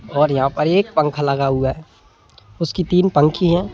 और यहाँ पर एक पंखा लगा हुआ है उसकी तीन पंखी हैं।